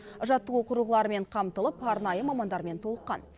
жаттығу құрылғыларымен қамтылып арнайы мамандармен толыққан